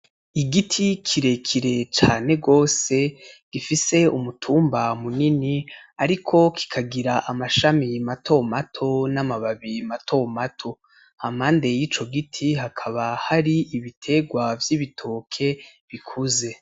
Igiti kirekire cane gose gifise umutumba munini ariko kikagira amashami mato mato n'amababi mato mato, hampande y'ico giti hakaba hari ibiterwa vy'ibitoke bikuze.